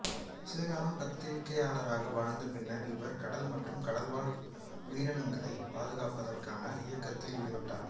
சில காலம் பத்திரிகையாளராக வாழ்ந்த பின்னர் இவர் கடல் மற்றும் கடல்வாழ் உயிரினங்களைப் பாதுகாப்பதற்கான இயக்கத்தில் ஈடுபட்டார்